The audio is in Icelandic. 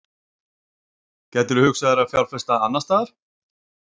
gætirðu hugsað þér að fjárfesta annarstaðar?